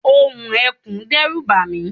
ohùn ekùn dẹ́rù bàmí